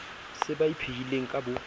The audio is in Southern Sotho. se ba ipehileng ka bo